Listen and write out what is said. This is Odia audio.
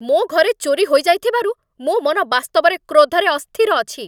ମୋ ଘରେ ଚୋରି ହୋଇଯାଇଥିବାରୁ ମୋ ମନ ବାସ୍ତବରେ କ୍ରୋଧରେ ଅସ୍ଥିର ଅଛି।